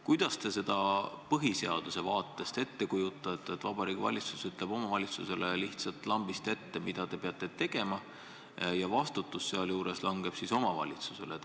Kuidas te seda põhiseaduse seisukohast ette kujutate – seda, et Vabariigi Valitsus ütleb kohalikule omavalitsusele lihtsalt lambist ette, mida see tegema peab, kusjuures vastutus langeb omavalitsusele?